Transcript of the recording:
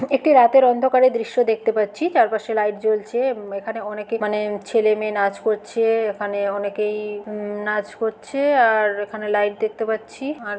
একটি রাতের অন্ধকারের দৃশ্য দেখতে পাচ্ছি। চারপাশে লাইট জ্বলছে। এখানে অনেকে মানে ছেলে মেয়ে নাচ করছে। এখানে অনেকেই -ই -ওম-নাচ করছে। আর এখানে লাইট দেখতে পাচ্ছি আর --